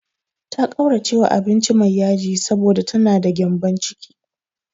Ta ƙauracewa abinci mai yaji, saboda ta na da gyambon ciki.